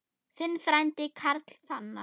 Þinn frændi, Karl Fannar.